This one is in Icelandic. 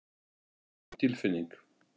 Það er mín tilfinning.